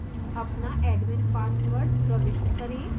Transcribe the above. enter your अपना admin password प्रविष्ट करें